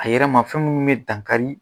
A yɛrɛma fɛn minnu bɛ dankari